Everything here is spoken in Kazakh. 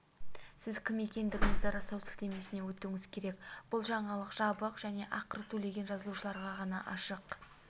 сіз кім екендігіңізді растау сілтемесіне өтуіңіз керек бұл жаңалық жабық және ақы төлеген жазылушыларға ғана ашық